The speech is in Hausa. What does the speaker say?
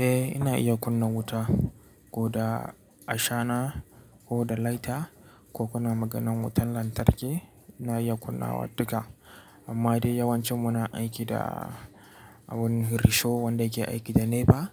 Eh ina iya kunna wuta, ko da ashana ko da lighter ko kuna maganan wutan lantarki ina iya kunnawa duka. Amma dai yawancin muna aiki da abun risho wanda yake aiki da NEPA,